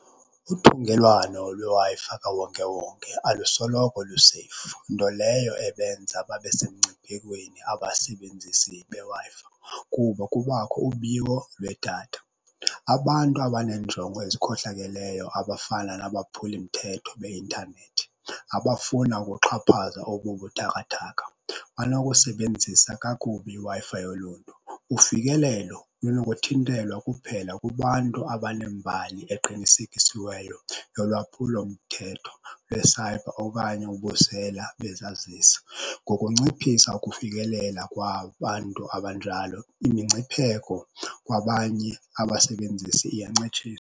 Uthungelwano lweWi-Fi kawonkewonke alusoloko luseyifu nto leyo ebenza babe semngciphekweni abasebenzisi beWi-Fi kuba kubakho ubiwo lwedatha. Abantu abaneenjongo ezikhohlakeleyo abafana nabaphulimthetho beintanethi abafuna ukuxhaphaza obubuthakathaka, banokusebenzisa kakubi iWi-Fi yoluntu. Ufikelelo lunokuthintelwa kuphela kubantu abaneembali eqinisekisiweyo yolwaphulomthetho lwesayibha okanye ubusela bezazisi. Ngokunciphisa ukufikelela kwabantu abanjalo imingcipheko kwabanye abasebenzisi .